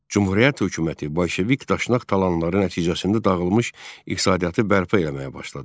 Cümhuriyyət hökuməti bolşevik daşnaq talanları nəticəsində dağılmış iqtisadiyyatı bərpa eləməyə başladı.